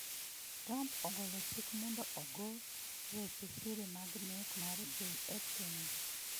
Trump ogolo chik mondo ogo weche siri mag nek mar JF Kennedy